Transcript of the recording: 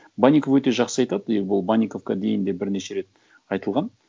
банников өте жақсы айтады и бұл банниковқа дейін де бірнеше рет айтылған